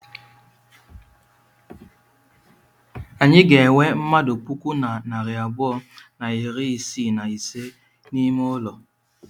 Anyị ga-enwe mmadụ puku na narị abụọ na iri isii na ise n'ime ụlọ.